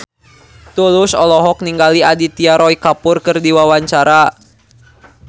Tulus olohok ningali Aditya Roy Kapoor keur diwawancara